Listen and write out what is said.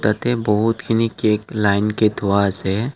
ইয়াতে বহুতখিনি cake line কে থোৱা আছে।